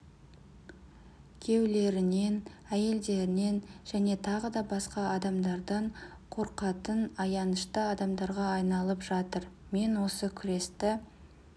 күйеулерінен әйелдерінен және тағы да басқа адамдардан қорқатын аянышты адамдарға айналып жатыр мен осы күресті